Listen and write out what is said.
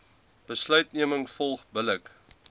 besluitneming volg billik